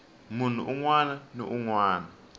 munhu un wana ni un